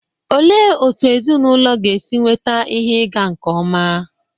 Olee otú ezinụlọ ga-esi enweta ihe ịga nke ọma?